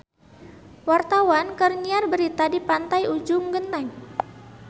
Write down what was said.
Wartawan keur nyiar berita di Pantai Ujung Genteng